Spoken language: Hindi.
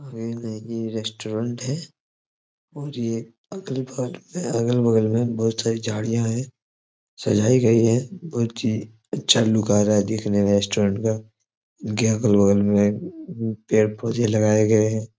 ये नही रेस्टोरेंट है और ये अगले भाग में अगल बगल में बहुत सारी झाड़िया है सजाई गई है बहुत ही अच्छा लुक आ रहा है देखने में रेस्टोरेंट का इसके अगल-बगल में पेड़ पौधे लगाए गए हैं।